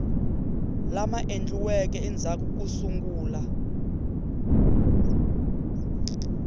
lama endliweke endzhaku ko sungula